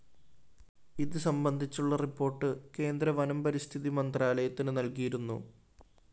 ഇത് സംബന്ധിച്ചുള്ള റിപ്പോർട്ട്‌ കേന്ദ്ര വനം പരിസ്ഥിതി മന്ത്രാലയത്തിന് നല്‍കിയിരുന്നു